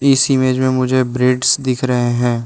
इस इमेज में मुझे ब्रीड्स दिख रहे हैं।